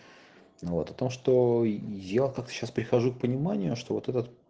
вот о том что я как то сейчас прихожу к пониманию что вот этот